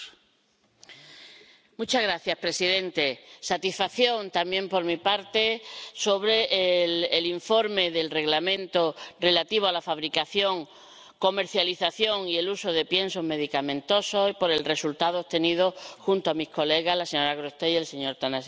Señor presidente, satisfacción también por mi parte en relación con el informe del Reglamento relativo a la fabricación, la comercialización y el uso de piensos medicamentosos, y por el resultado obtenido junto a mis colegas, la señora Grossetête y el señor Tănăsescu.